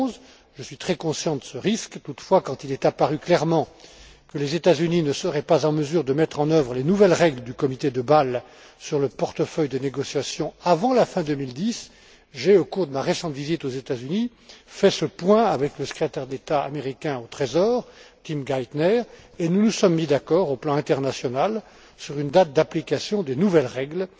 2011. Je suis très conscient de ce risque. Toutefois, quand il est apparu clairement que les États Unis ne seraient pas en mesure de mettre en œuvre les nouvelles règles du comité de Bâle sur le portefeuille des négociations avant la fin 2010, j'ai, au cours de ma récente visite aux États Unis, fait le point avec le Secrétaire d'État américain au Trésor, Tim Geithner, et nous nous sommes mis d'accord, au plan international, sur une date d'application des nouvelles règles.